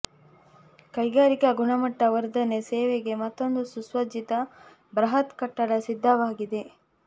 ಕೈಗಾರಿಕಾ ಗುಣಮಟ್ಟ ವರ್ಧನೆ ಸೇವೆಗೆ ಮತ್ತೊಂದು ಸುಸಜ್ಜಿತ ಬೃಹತ್ ಕಟ್ಟಡ ಸಿದ್ಧವಾಗಿದೆ